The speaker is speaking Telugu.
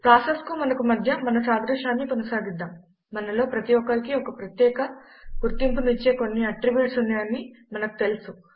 ప్రాసెసెస్కు మనకు మధ్య మన సాదృశ్యాన్ని కొనసాగిద్దాం మనలో ప్రతి ఒక్కరికీ ప్రత్యేక గుర్తింపును ఇచ్చే కొన్ని అట్రిబ్యూట్స్ ఉన్నాయని మనకు తెలుసు